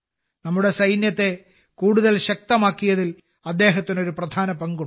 നമ്മുടെ സൈന്യത്തെ കൂടുതൽ ശക്തമാക്കിയതിൽ അദ്ദേഹത്തിന് ഒരു പ്രധാന പങ്കുണ്ട്